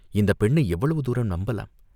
இந்தப் பெண்ணை எவ்வளவு தூரம் நம்பலாம்?